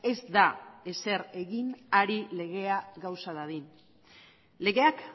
ez da ezer egin ari legea gauza dadin legeak